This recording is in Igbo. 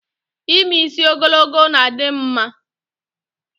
Ime isi ogologo na-adim mma